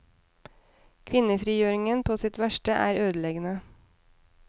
Kvinnefrigjøringen på sitt verste er ødeleggende.